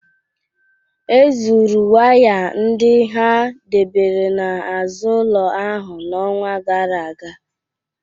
Ezuru waya ndị ha debere n'azụ ụlọ ahụ n'ọnwa gara aga